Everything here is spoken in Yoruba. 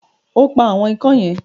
O pa “àwọn ikán" yẹn?